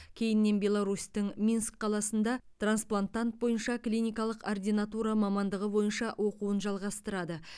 кейіннен беларусьтің минск қаласында трансплантант бойынша клиникалық ординатура мамандығы бойынша оқуын жалғастырады